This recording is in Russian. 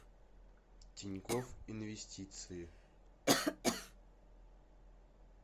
тинькофф инвестиции